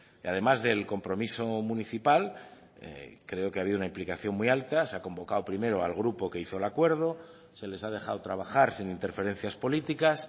y además del compromiso municipal creo que ha habido una implicación muy alta se ha convocado primero al grupo que hizo el acuerdo se les ha dejado trabajar sin interferencias políticas